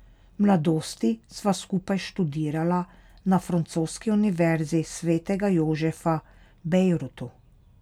V mladosti sva skupaj študirala na Francoski univerzi svetega Jožefa v Bejrutu.